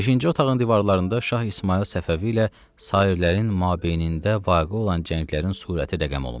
Beşinci otağın divarlarında Şah İsmayıl Səfəvi ilə sairlərin mabeynində vaqe olan cənglərin surəti rəqəm olunmuşdu.